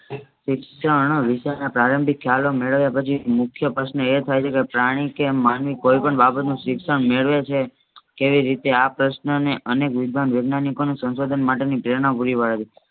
શિક્ષણ વિચારના પ્રારંભિક ખ્યાલો મેળવ્યા પછી મુખ્ય પ્રશ્નન એ થાય છેકે પ્રાણી કે માનવી કોઈ પણ બાબતનું શિક્ષણ મેળવે છે. તેવી રીતે આ પ્રશ્નને અનેક વેજ્ઞાનીકના સંશોધન માટે ની પ્રેરણા પુરી પાડે છે.